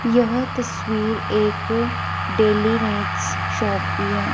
यह तस्वीर एक डेलीनेक्स शॉप की है।